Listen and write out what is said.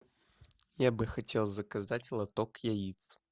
я бы хотел заказать лоток яиц